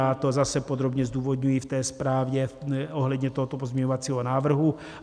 Já to zase podrobně zdůvodňuji v té zprávě ohledně tohoto pozměňovacího návrhu.